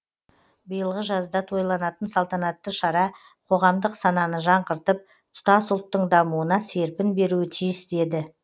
биылғы жазда тойланатын салтанатты шара қоғамдық сананы жаңғыртып тұтас ұлттың дамуына серпін беруі тиіс деді